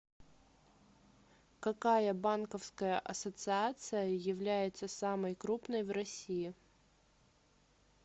какая банковская ассоциация является самой крупной в россии